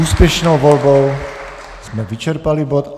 Úspěšnou volbou jsme vyčerpali bod.